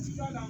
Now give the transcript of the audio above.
Sida